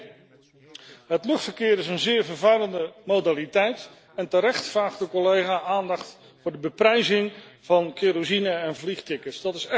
Eén, het luchtverkeer is een zeer vervuilende modaliteit en terecht vraagt de collega aandacht voor de beprijzing van kerosine en vliegtickets.